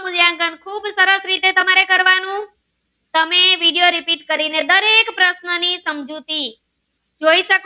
તમે vediorepeat કરી ને દરેક પ્રશ્ન સમજૂતી જોઈ શકો